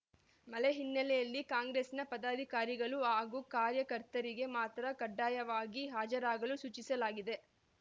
ಮಳೆ ಹಿನ್ನೆಲೆಯಲ್ಲಿ ಕಾಂಗ್ರೆಸ್‌ನ ಪದಾಧಿಕಾರಿಗಳು ಹಾಗೂ ಕಾರ್ಯಕರ್ತರಿಗೆ ಮಾತ್ರ ಕಡ್ಡಾಯವಾಗಿ ಹಾಜರಾಗಲು ಸೂಚಿಸಲಾಗಿದೆ